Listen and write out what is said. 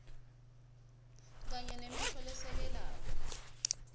kanye nemisho lesekelako